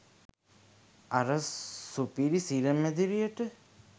අර සුපිරි සිර මැදිරියට